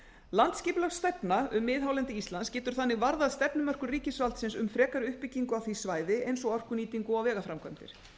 landsskipulagsstefna um miðhálendi íslands getur þannig varðað stefnumörkun ríkisvaldsins um frekari uppbyggingu á því svæði eins og orkunýtingu og vegaframkvæmdir